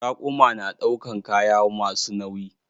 Raƙuma na ɗaukan kaya masu nauyi.